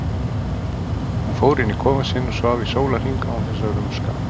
Hún fór inn í kofann sinn og svaf í sólarhring án þess að rumska.